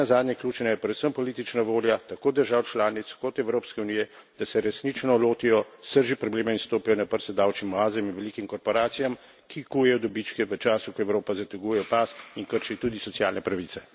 In nenazadnje ključna je predvsem politična volja, tako držav članic kot Evropske unije, da se resnično lotijo srži problema in stopijo na prste davčnim oazam in velikim korporacijam, ki kujejo dobičke v času, ko Evropa zateguje pas, in kršijo tudi socialne pravice.